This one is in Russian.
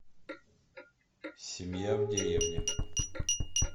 семья в деревне